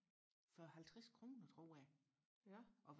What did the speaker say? for halvtres kroner tror jeg og